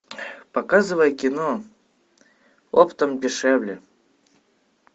показывай кино оптом дешевле